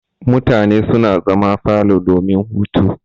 Mutane suna zama a falo domin hutu.